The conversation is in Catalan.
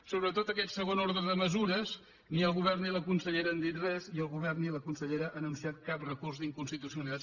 sobretot aquest segon ordre de mesures ni el govern ni la consellera han dit res ni el govern ni la consellera han anunciat cap recurs d’inconstitucionalitat